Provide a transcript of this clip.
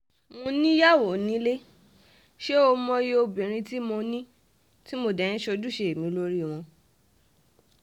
mo níyàwó nílé ṣé ó mòye obìnrin tí mo ní tí mo dé ń ṣe ojúṣe mi lórí wọn